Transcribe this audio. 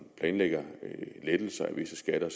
lettelser af visse skatter